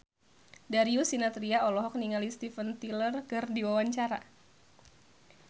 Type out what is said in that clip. Darius Sinathrya olohok ningali Steven Tyler keur diwawancara